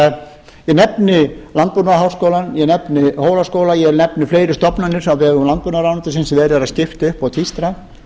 bakinu ég nefni landbúnaðarháskólann ég nefni hólaskóla ég nefni fleiri stofnanir á vegum landbúnaðarráðuneytisins sem verið er að skipta upp og tvístra